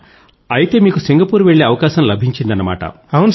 అయితే మీకు సింగపూర్ వెళ్ళే అవకాశం లభించిందన్నమాట